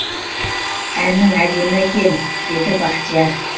әнің әдемі екен деді бахтияр